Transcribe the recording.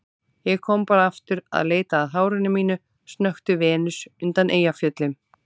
Ég kom bara aftur að leita að hárinu mínu, snökti Venus undan Eyjafjöllum.